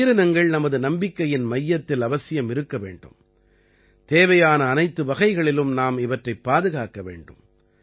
இந்த உயிரினங்கள் நமது நம்பிக்கையின் மையத்தில் அவசியம் இருக்க வேண்டும் தேவையான அனைத்து வகைகளிலும் நாம் இவற்றைப் பாதுகாக்க வேண்டும்